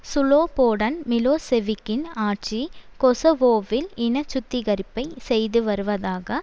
Slobodan மிலோசெவிக்கின் ஆட்சி கொசவோவில் இனச்சுத்திகரிப்பை செய்துவருவதாக